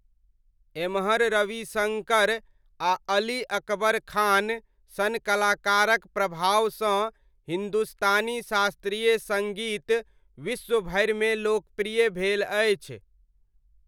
एम्हर रविशङ्कर आ अली अकबर खान सन कलाकारक प्रभावसँ हिन्दुस्तानी शास्त्रीय सङ्गीत विश्व भरिमे लोकप्रिय भेल अछि।